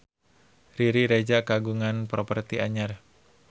Riri Reza kagungan properti anyar